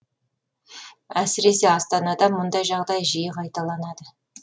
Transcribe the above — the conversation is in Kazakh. әсіресе астанада мұндай жағдай жиі қайталанады